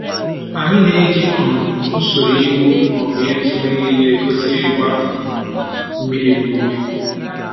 Anyị na-eji um usoro ịwụ/ịtụ na eriri egosi ịgba um mmiri n'ubi